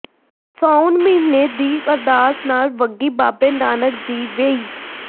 ਸਾਉਣ ਮਹੀਨੇ ਦੀ ਅਰਦਾਸ ਨਾਲ ਵਗੀ ਬਾਬੇ ਨਾਨਕ ਦੀ ਵੇਈਂ